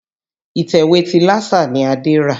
Ìtẹ̀wé ti Lásà ni Adé rà.